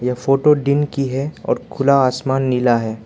Photo दिन की है और खुला आसमान नीला है।